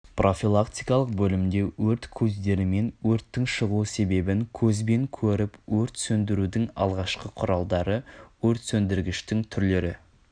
профилактикалық бөлімде өрт көздері мен өрттің шығу себебін көзбен көріп өрт сөдірудің алғашқы құралдары өртсөндіргіштің түрлері